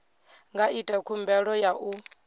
nga ita khumbelo ya u